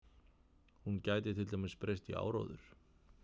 Hún gæti til dæmis breyst í áróður.